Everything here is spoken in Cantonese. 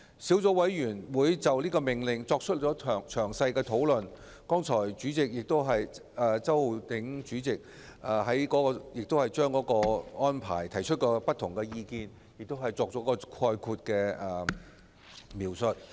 小組委員會就《命令》進行詳細的討論，周浩鼎議員剛才亦就差餉寬減的安排提出不同意見，並作出概括描述。